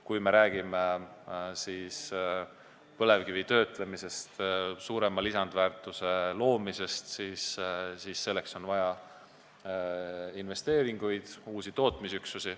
Kui me räägime põlevkivi töötlemisest ja suurema lisandväärtuse loomisest, siis on vaja investeeringuid, uusi tootmisüksusi.